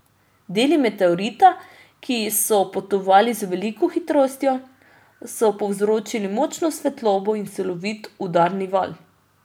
Deli meteorita, ki so potovali z veliko hitrostjo, so povzročili močno svetlobo in silovit udarni val.